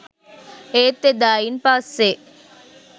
ඒත් එදායින් පස්සේ